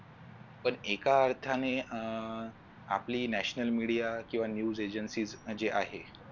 पण एका अर्थाने अह आपली national media किवा news agency जी आहे